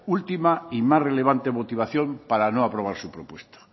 última y más relevante motivación para no aprobar su propuesta